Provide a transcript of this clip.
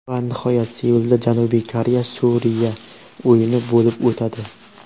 Va nihoyat Seulda Janubiy Koreya Suriya o‘yini bo‘lib o‘tadi.